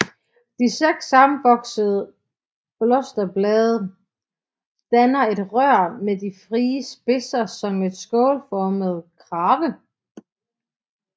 De seks sammenvoksede blosterblade danner et rør med de frie spidser som en skålformet krave